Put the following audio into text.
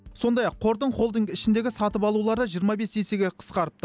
сондай ақ қордың холдинг ішіндегі сатып алулары жиырма бес есеге қысқарыпты